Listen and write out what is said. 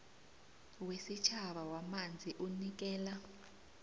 wesitjhaba wamanzi unikela